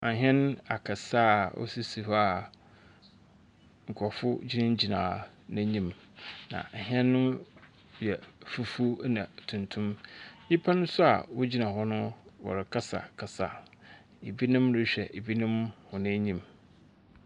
Ahɛn akɛse ɛ wɔsisi hɔ a nkurɔfoɔ gyinagyina n'anim, na hyɛn no yɛ fufuo na tuntum. Nnipa nso a wɔgyina hɔ no wɔrekasakasa. Ebinom rehwɛ ebinom hɔ enyim.